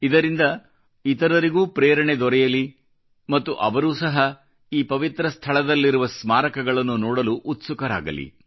ಇದರಿಂದ ಇತರರಿಗೂ ಪ್ರೇರಣೆ ದೊರೆಯಲಿ ಮತ್ತು ಅವರೂ ಸಹ ಈ ಪವಿತ್ರ ಸ್ಥಳದಲ್ಲಿರುವ ಸ್ಮಾರಕಗಳನ್ನು ನೋಡಲು ಉತ್ಸುಕರಾಗಲಿ